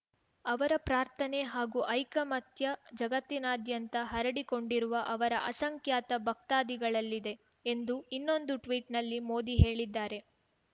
ಅವರ ಪ್ರಾರ್ಥನೆ ಹಾಗೂ ಐಕಮತ್ಯ ಜಗತ್ತಿನಾದ್ಯಂತ ಹರಡಿಕೊಂಡಿರುವ ಅವರ ಅಸಂಖ್ಯಾತ ಭಕ್ತಾದಿಗಳಲ್ಲಿದೆ ಎಂದು ಇನ್ನೊಂದು ಟ್ವೀಟ್‌ನಲ್ಲಿ ಮೋದಿ ಹೇಳಿದ್ದಾರೆ